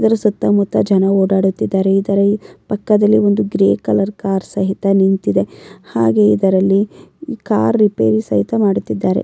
ಇದರ ಸುತ್ತ ಮುತ್ತ ಜನರು ಓಡಾಡುತ್ತಿದ್ದಾರೆ ಇದರ ಪಕ್ಕದಲ್ಲಿ ಒಂದು ಗ್ರೇಯ್ ಕಲರ್ ಕಾರ್ ಸಹಿತ ನಿಂತಿದೆ ಹಾಗೆ ಇದರಲ್ಲಿ ಕಾರ್ ರಿಪೇರಿ ಸಹಿತ ಮಾಡುತ್ತಿದ್ದಾರೆ.